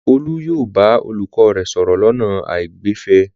Olú yóò bá olùkọ́ rẹ̀ sọ̀rọ̀ lọ́nà àìgbẹ̀fẹ̀.